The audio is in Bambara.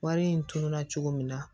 Wari in tununa cogo min na